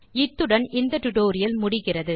இத்துடன் இந்த டுடோரியல் முடிகிறது